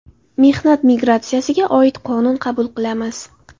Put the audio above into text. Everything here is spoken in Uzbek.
Mehnat migratsiyasiga oid qonun qabul qilamiz.